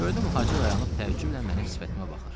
Gördüm hacı dayanıb təəccüblə mənim sifətimə baxır.